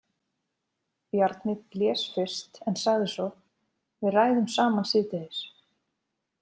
Bjarni blés fyrst en sagði svo: Við ræðum saman síðdegis.